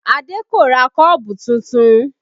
Adé kò ra kọ́ọ̀bù tuntun